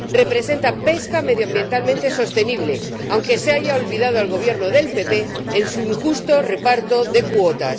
Representa pesca medioambientalmente sostenible, aunque se le haya olvidado al Gobierno del PP en su injusto reparto de cuotas.